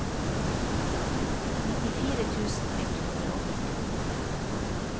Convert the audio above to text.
nittifire tusen ett hundre og førtini